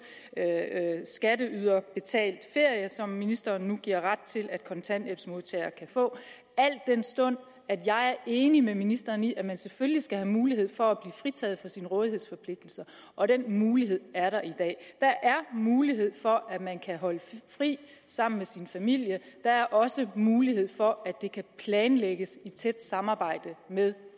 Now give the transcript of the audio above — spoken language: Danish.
skatteyderbetalt ferie som ministeren nu giver ret til at kontanthjælpsmodtagere kan få al den stund at jeg er enig med ministeren i at man selvfølgelig skal have mulighed for at blive fritaget for sin rådighedsforpligtelse og den mulighed er der i dag der er mulighed for at man kan holde fri sammen med sin familie der er også mulighed for at det kan planlægges i tæt samarbejde med